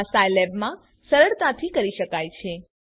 આ સાઈલેબમાં સરળતાથી કરી શકાય છે